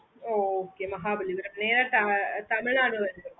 okaymahabalipuram வழியா Tamilnadu வருது